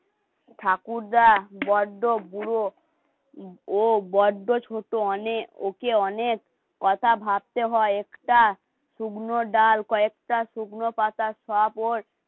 ঠাকুরদা, বড়্দা, বুড়ো, ও বড্ড ছোট অনেক, ওকে অনেক কথা ভাবতে হয় একটা. শুকনো ডাল, কয়েকটা শুকনো পাতা, শবও,